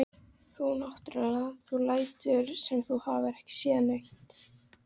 Þú náttúrlega. þú lætur sem þú hafir ekki séð neitt!